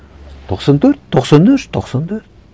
тоқсан төрт тоқсан үш тоқсан төрт